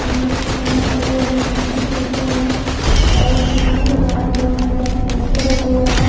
Phone रखे हुए हैं अलग अलग कंपनी के रखे हुए हैं और दुकान के बाहर बहुत ही बड़ा पोस्टर लगा हुआ है।